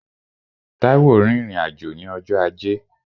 Táíwò rìnrìn-àjò ní ọjọ́ ajé